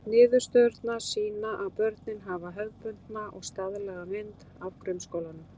Niðurstöðurnar sýna að börnin hafa hefðbundna og staðlaða mynd af grunnskólanum.